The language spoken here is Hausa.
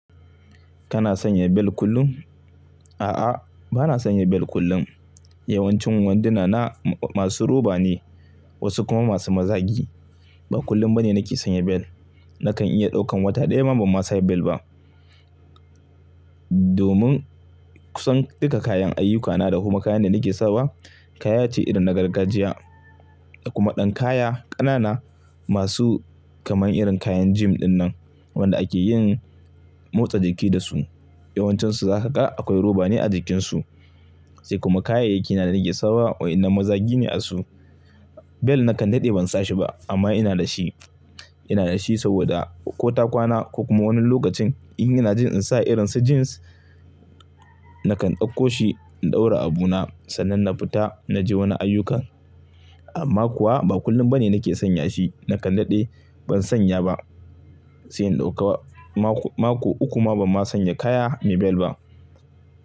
Kana sanya bel kullum? A'a, bana sanya bel kullum. Yawancin wanduna na masu roba ne, wasu kuma masu mazagi. Ba kullum bane nake sanya bel. Nakan iya ɗaukan wata ɗaya ma ban sa bel ba. Domin kusan duka kayan ayyukana da kuma kayan da nake sawa kaya ce irin na gargajiya da kuma ɗan kaya ƙanana masu kamar irin kayan gym dinnan wanda ake yin motsa jiki da su. Yawancinsu za ka ga akwai roba ne a jikinsu. Sai kuma kayayyaki na da nake sawa wa'ina mazargi ne a su. Bel nakan daɗe ban sa shi ba amma ina da shi. Ina da shi saboda ko ta kwana ko kuma wani lokacin in ina jin in sa irin su jeans nakan ɗauko shi in ɗaura abu na sannan na fita na je wani ayyukan. Amma kuwa ba kullum bane nake sanya shi. Nakan daɗe ban sanya ba, sai in ɗauka. Ma-mako uku ma ban sa kaya me bel ba.